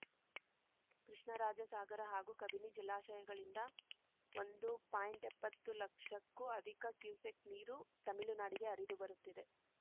ಕೃಷ್ಣರಾಜಸಾಗರ ಹಾಗೂ ಕಬಿನಿ ಜಲಾಶಯಗಳಿಂದ ಒಂದು ಪಾಯಿಂಟ್ಎಪ್ಪತ್ತು ಲಕ್ಷಕ್ಕೂ ಅಧಿಕ ಕ್ಯುಸೆಕ್‌ ನೀರು ತಮಿಳುನಾಡಿಗೆ ಹರಿದುಬರುತ್ತಿದೆ